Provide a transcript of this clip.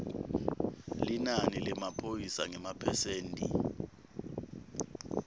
linani lemaphoyisa ngemaphesenti